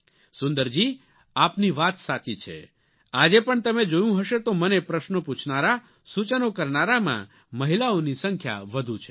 સુંદરજી આપની વાત સાચી છે અને આજે પણ તમે જોયું હશે તો મને પ્રશ્નો પૂછનારા સૂચનો કરનારામાં મહિલાઓની સંખ્યા વધુ છે